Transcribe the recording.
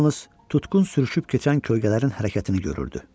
Yalnız tutqun sürüşüb keçən kölgələrin hərəkətini görürdü.